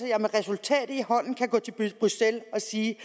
jeg med resultatet i hånden kan gå til bruxelles og sige